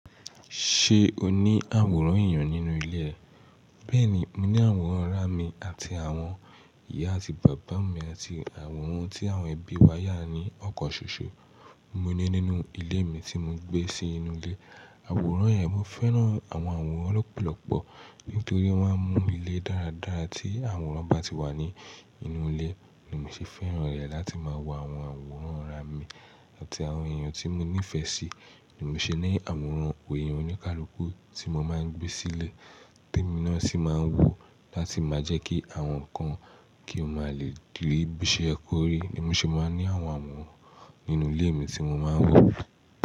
Ṣé o ní àwòrán èèyàn nínú ilé ẹ? Bẹ́ẹ̀ni, mo ní àwòrán ọ̀rẹ́ mi àti àwọn ìyá àti bàbá mi àti àwòrán tí àwọn ẹbí wa yà ní ọkọ̀n ṣoṣo. Mo ní nínú ilé mi tí mo gbé sí inú ilé. Àwòrán yẹn, mo fẹ́ràn àwọn àwòrán lọ́pọ̀lọ́pọ̀ nítorí wọ́n máa ń mú ilé dáradára tí àwòrán bá ti wà ní inú ilé. Ni mo sì fẹ́ràn rẹ̀ láti máa wo àwọn àwòrán ọ̀rẹ́ mi àti àwọn èèyàn tí mo nífẹ̀ẹ́ sí. Ni mo sì ní àwòrán òye oníkálukú tí mo máa ń gbé sílé, te mo náà sì máa ń wò láti máa jẹ́ kí àwọn kan kí ó máa lè dìbí ṣe ẹkò rí. Ni mo sì máa ń ní àwọn àwòrán nínú ilé mi tí mo máa ń wò.